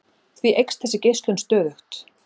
Því eykst þessi geislun stöðugt.